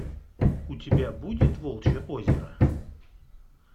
у тебя будет волчье озеро